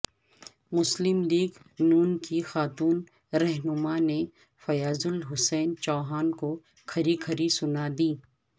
مسلم لیگ ن کی خاتون رہنماء نے فیاض الحسن چوہان کوکھری کھری سنادیں